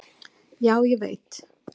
Já, ég veit.